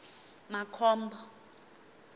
makhombo